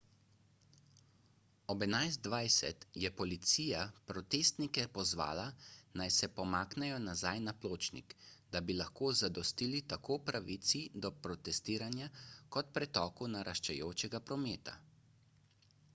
ob 11.20 je policija protestnike pozvala naj se pomaknejo nazaj na pločnik da bi lahko zadostili tako pravici do protestiranja kot pretoku naraščajočega prometa